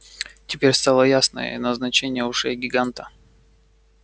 теперь стало ясно и назначение ушей гиганта